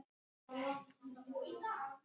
Þessi erfiða reynsla hafði ekki orðið til einskis.